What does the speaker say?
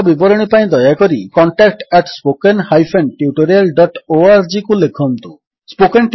ଅଧିକ ବିବରଣୀ ପାଇଁ ଦୟାକରି contact at spoken hyphen tutorial dot ଓଆରଜିକୁ ଲେଖନ୍ତୁ contactspoken tutorialଓଆରଜି